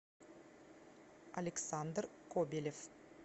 александр кобелев